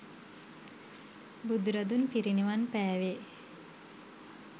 බුදුරදුන් පිරිනිවන් පෑවේ